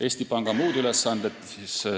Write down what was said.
Eesti Panga muud ülesanded.